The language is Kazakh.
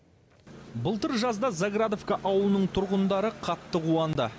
былтыр жазда заградовка ауылының тұрғындары қатты қуанды